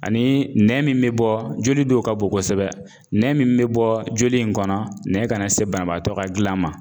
Ani nɛn min bɛ bɔ joli dow ka bo kosɛbɛ, nɛn min be bɔɔ joli in kɔnɔ nɛ kana se banabaatɔ ka gilan ma.